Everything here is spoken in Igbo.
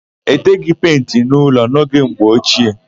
E teghị penti n'ụlọ n'oge mgbe ochie.